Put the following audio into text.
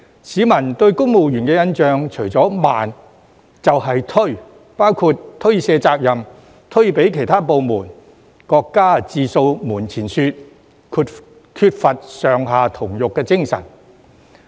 市民對公務員的印象除了"慢"，便是"推"，包括推卸責任、推給其他部門、各家自掃門前雪，缺乏"上下同欲"的精神。